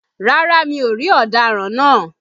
Rárá mi ò rí ọ̀daràn náà